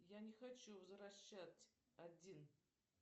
я не хочу возвращать один